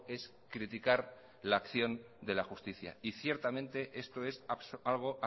es criticar la acción de la justicia y ciertamente esto es algo